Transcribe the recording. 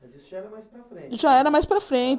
Mas isso já era mais para frente. Já era mais para frente